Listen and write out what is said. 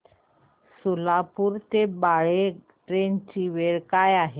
सोलापूर ते बाळे ट्रेन ची वेळ काय आहे